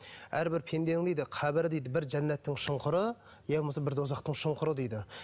әрбір пенденің дейді қабірі дейді бір жәннаттың шұнқыры иә болмаса бір тозақтың шұңқыры дейді